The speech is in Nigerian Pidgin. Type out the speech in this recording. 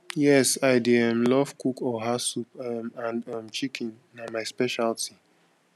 yes i dey um love cook oha soup um and um chicken na my specialty